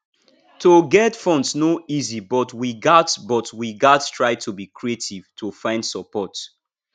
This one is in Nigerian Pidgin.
to get funds no easy but we gats but we gats try to be creative to find support